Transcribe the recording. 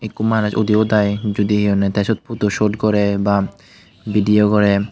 ekko manus udi udaai judi hi honney tey syot photo sot gorey ba vidio gorey.